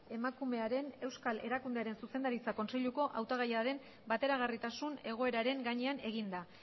emakumearen euskal erakundearen zuzendaritza kontseiluko hautagaiaren bateragarritasun egoeraren gainean eginda